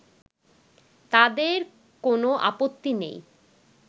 তাদের কোন আপত্তি নেই